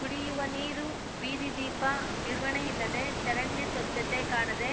ಕುಡಿಯುವ ನೀರು ಬೀದಿದೀಪ ನಿರ್ವಹಣೆ ಇಲ್ಲದೆ ಚರಂಡಿ ಸ್ವಚ್ಛತೆ ಕಾಣದೆ